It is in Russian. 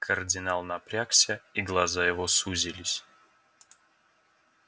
кардинал напрягся и глаза его сузились